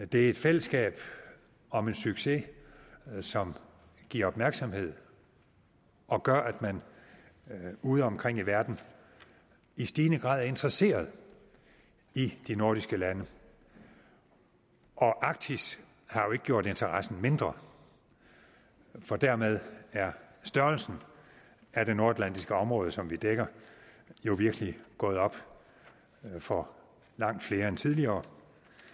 det er et fællesskab om en succes som giver opmærksomhed og gør at man udeomkring i verden i stigende grad er interesseret i de nordiske lande og arktis har jo ikke gjort interessen mindre for dermed er størrelsen af det nordatlantiske område som vi dækker jo virkelig gået op for langt flere end tidligere